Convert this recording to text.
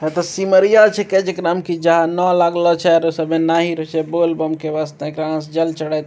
है त सिमरिया छिकै जेकराम कि जानो लागलो छे और सभै नाही रह छे बोल-बम के वासत्य एकरा अंस जल चढ़ाय --